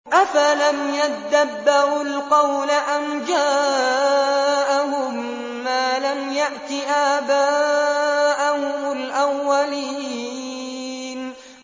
أَفَلَمْ يَدَّبَّرُوا الْقَوْلَ أَمْ جَاءَهُم مَّا لَمْ يَأْتِ آبَاءَهُمُ الْأَوَّلِينَ